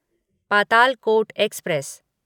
Patalkot express